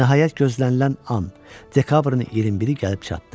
Nəhayət gözlənilən an, dekabrın 21-i gəlib çatdı.